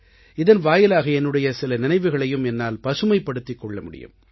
இதன் வாயிலாக என்னுடைய சில நினைவுகளையும் என்னால் பசுமைப்படுத்திக் கொள்ள முடியும்